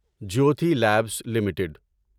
Jyothi labs limited